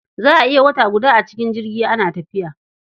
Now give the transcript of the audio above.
Za a iya wata guda a cikin jirgi ana tafiya.